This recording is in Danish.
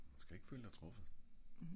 du skal ik føle dig truffet